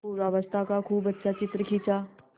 पूर्वावस्था का खूब अच्छा चित्र खींचा